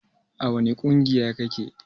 A wani ƙungiya kake?